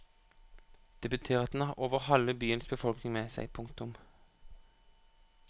Det betyr at den har over halve byens befolkning med seg. punktum